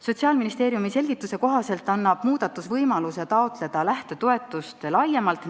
Sotsiaalministeeriumi selgituse kohaselt annab muudatus võimaluse taotleda lähtetoetust laiemalt.